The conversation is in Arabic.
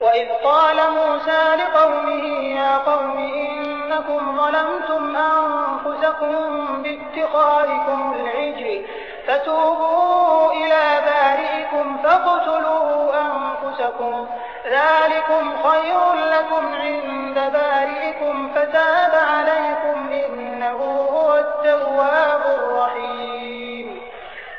وَإِذْ قَالَ مُوسَىٰ لِقَوْمِهِ يَا قَوْمِ إِنَّكُمْ ظَلَمْتُمْ أَنفُسَكُم بِاتِّخَاذِكُمُ الْعِجْلَ فَتُوبُوا إِلَىٰ بَارِئِكُمْ فَاقْتُلُوا أَنفُسَكُمْ ذَٰلِكُمْ خَيْرٌ لَّكُمْ عِندَ بَارِئِكُمْ فَتَابَ عَلَيْكُمْ ۚ إِنَّهُ هُوَ التَّوَّابُ الرَّحِيمُ